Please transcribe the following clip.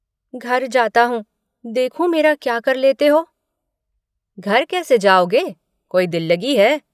घर जाता हूँ, देखूँ मेरा क्या कर लेते हो। घर कैसे जाओगे, कोई दिल्लगी है।